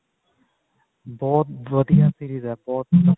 ਬਹੁਤ ਵਧੀਆ series ਹੈ ਬਹੁਤ